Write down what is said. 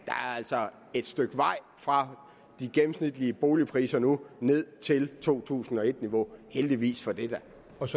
altså er et stykke vej fra de gennemsnitlige boligpriser nu og ned til to tusind og et niveau og heldigvis for det